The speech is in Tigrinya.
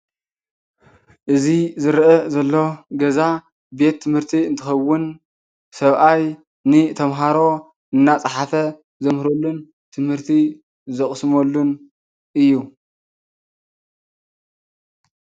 እዚ ዝረአ ዘሎ ገዛ ቤት ትምህርቲ እንትኸውን ሰብኣይ ንተምሃሮ እናፅሓፈ ዘምህረሉን ትምህርቲ ዘቕስመሉን እዩ፡፡